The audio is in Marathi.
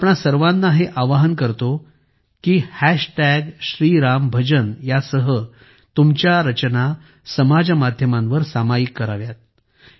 मी तुम्हां सर्वांना हे आवाहन करतो की हॅश टॅग श्री राम भजन श्रीरामभजन सह तुमच्या रचना समाज माध्यमांवर सामायिक कराव्या